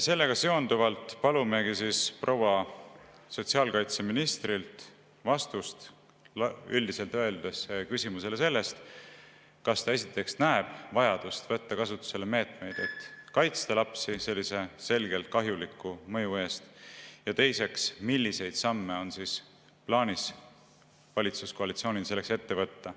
Sellega seonduvalt palume proua sotsiaalkaitseministrilt vastust üldiselt öeldes küsimusele selle kohta, kas ta, esiteks, näeb vajadust võtta kasutusele meetmeid, et kaitsta lapsi sellise selgelt kahjuliku mõju eest, ja teiseks, milliseid samme on plaanis valitsuskoalitsioonil selleks ette võtta.